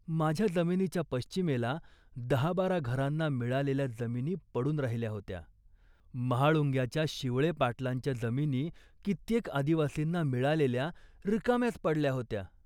माझ्या जमिनीच्या पश्चिमेला दहाबारा घरांना मिळालेल्या जमिनी पडून राहिल्या होत्या. महाळुंग्याच्या शिवळे पाटलांच्या जमिनी कित्येक आदिवासींना मिळालेल्या, रिकाम्याच पडल्या होत्या